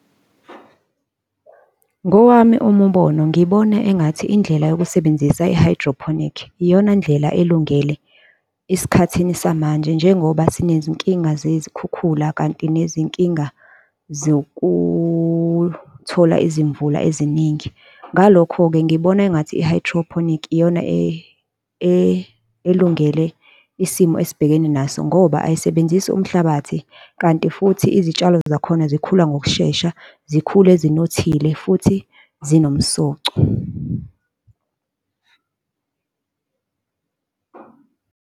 Ngowami umubono ngibona engathi indlela yokusebenzisa i-hydroponic, iyona ndlela elungele esikhathini samanje, njengoba zinezinkinga zezikhukhula kanti nezinkinga zokuthola izimvula eziningi. Ngalokho-ke ngibona engathi i-hydroponic iyona elungele isimo esibhekene naso ngoba ayisebenzisi umhlabathi, kanti futhi izitshalo zakhona zikhula ngokushesha, zikhule zinothile futhi zinomsoco.